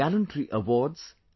gallantryawards